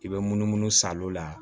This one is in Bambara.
I bɛ munumunu salon la